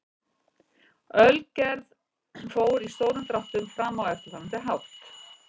Ölgerð fór í stórum dráttum fram á eftirfarandi hátt.